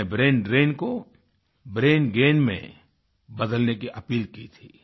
मैंने ब्रैंडरेन को ब्रेनगेन में बदलने की अपील की थी